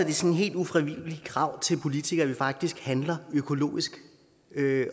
et sådan helt ufravigeligt krav til politikerne faktisk handler økologisk